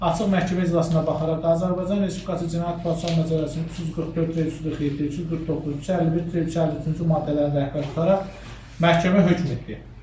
Açıq məhkəmə iclasına baxaraq Azərbaycan Respublikası Cinayət Prosesi Məcəlləsinin 344, 347, 349, 351, 353-cü maddələrini rəhbər tutaraq məhkəmə hökm etdi.